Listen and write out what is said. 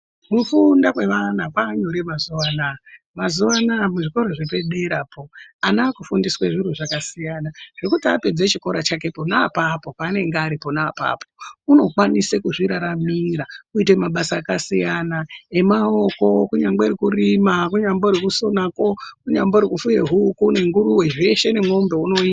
Kufunda kwevana kwavanyore mazuva anaya. Mazuva anaya, kuzvikora zvepaderapo, ana akufundiswa zviro zvakasiyana kana apedza chikoro chake pona apapo, paanenge ari pona apapo, unokwanise kuzviraramira kuite mabasa akasiyana emaoko kunyangwe rekurima, kunyambori kusonako, kunyambori kufuye huku nenguruwe, zveshe nen'ombe unoita.